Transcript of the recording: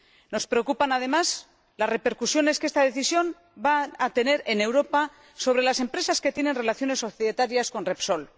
Nos preocupan, además, las repercusiones que esta decisión va a tener en Europa sobre las empresas que tienen relaciones societarias con Repsol.